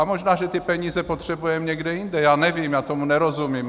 A možná že ty peníze potřebujeme někde jinde, já nevím, já tomu nerozumím.